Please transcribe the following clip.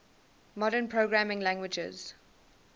modern programming languages